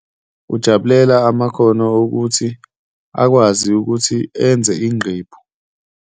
Ujabulela amakhono okuthi akwazi ukuthi enze inqephu.